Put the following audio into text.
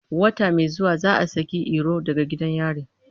Wata mai zuwa za a saki Iro daga gidan yari.